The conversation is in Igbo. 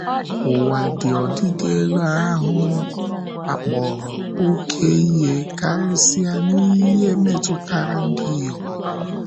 Ụwa ji ọdịdị elu ahụ́ akpọrọ oké ihe, karịsịa n’ihe metụtara ndị inyom.